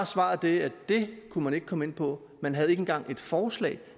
svaret det at det kunne man ikke komme ind på man havde ikke engang et forslag